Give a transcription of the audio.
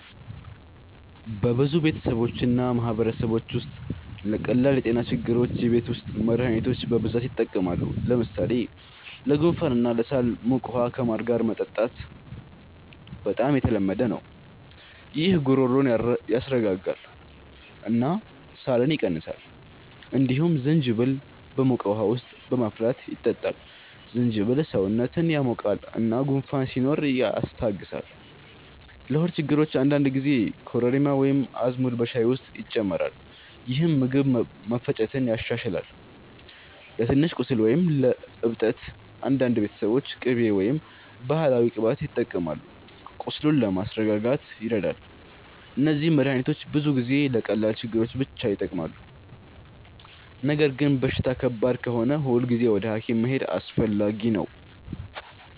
በብዙ ቤተሰቦች እና ማህበረሰቦች ውስጥ ለቀላል የጤና ችግሮች የቤት ውስጥ መድሃኒቶች በብዛት ይጠቀማሉ። ለምሳሌ ለጉንፋን እና ለሳል ሞቅ ውሃ ከማር ጋር መጠጣት በጣም የተለመደ ነው። ይህ ጉሮሮን ያስረጋጋል እና ሳልን ይቀንሳል። እንዲሁም ዝንጅብል በሞቅ ውሃ ውስጥ በማፍላት ይጠጣል። ዝንጅብል ሰውነትን ያሞቃል እና ጉንፋን ሲኖር ያስታግሳል። ለሆድ ችግሮች አንዳንድ ጊዜ ኮረሪማ ወይም አዝሙድ በሻይ ውስጥ ይጨመራል፣ ይህም ምግብ መፈጨትን ያሻሽላል። ለትንሽ ቁስል ወይም እብጠት አንዳንድ ቤተሰቦች ቅቤ ወይም ባህላዊ ቅባት ይጠቀማሉ፣ ቁስሉን ለማስረጋጋት ይረዳል። እነዚህ መድሃኒቶች ብዙ ጊዜ ለቀላል ችግሮች ብቻ ይጠቅማሉ። ነገር ግን በሽታ ከባድ ከሆነ ሁልጊዜ ወደ ሐኪም መሄድ አስፈላጊ ነው።